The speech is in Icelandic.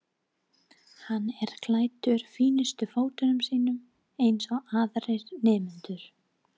Hann er klæddur fínustu fötunum sínum eins og aðrir nemendur.